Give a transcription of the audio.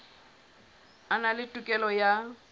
a na le tokelo ya